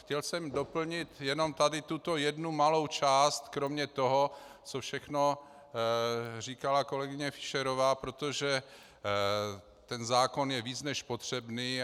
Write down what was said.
Chtěl jsem doplnit jenom tady tuto jednu malou část kromě toho, co všechno říkala kolegyně Fischerová, protože ten zákon je víc než potřebný.